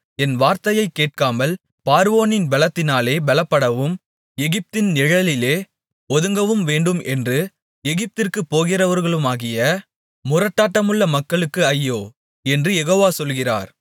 என் வார்த்தையைக் கேட்காமல் பார்வோனின் பெலத்தினாலே பெலப்படவும் எகிப்தின் நிழலிலே ஒதுங்கவும் வேண்டும் என்று எகிப்திற்குப் போகிறவர்களுமாகிய முரட்டாட்டமுள்ள மக்களுக்கு ஐயோ என்று யெகோவா சொல்கிறார்